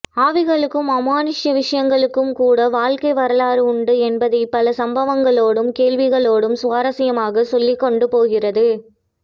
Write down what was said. ஆவிகளுக்கும் அமானுஷ்ய விஷயங்களுக்கும்கூட வாழ்க்கை வரலாறு உண்டு என்பதைப் பல சம்பவங்களோடும் கேள்விகளோடும் சுவாரசியமாகச் சொல்லிக் கொண்டு போகிறது